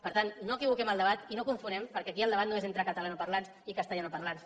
per tant no equivoquem el debat i no confonguem perquè aquí el debat no és entre catalanoparlants i castellanoparlants